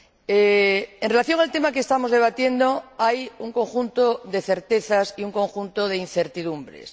En relación con el tema que estamos debatiendo, hay un conjunto de certezas y un conjunto de incertidumbres.